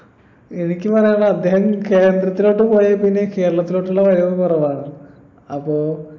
എനിക്ക് പറയാനുള്ളത് അദ്ദേഹം കേന്ദ്രത്തിലോട്ട് പോയേപ്പിന്നെ കേരളത്തിലോട്ടുള്ള വരവും കുറവാണ് അപ്പൊ